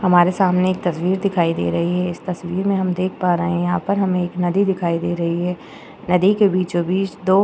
हमारे सामने एक तस्वीर दिखाई दे रही है इस तस्वीर में हम देख पा रहे हैं यहाँ पर हमें एक नदी दिखाई दे रही है नदी के बीचों बीच दो --